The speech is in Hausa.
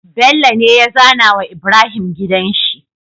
Bello ne ya zAna wa Ibrahim gidanshi